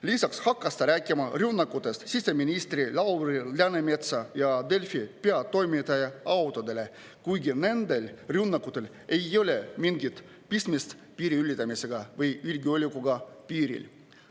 Lisaks hakkas ta rääkima rünnakutest siseminister Lauri Läänemetsa ja Delfi peatoimetaja autodele, kuigi nendel rünnakutel ei ole mingit pistmist piiri ületamisega või julgeolekuga piiril.